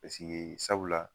Paseke sabula la